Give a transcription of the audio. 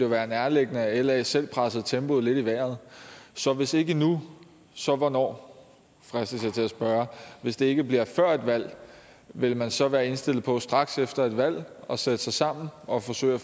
være nærliggende at la selv pressede tempoet lidt i vejret så hvis ikke nu så hvornår fristes jeg til at spørge hvis det ikke bliver før et valg vil man så være indstillet på straks efter et valg at sætte sig sammen og forsøge at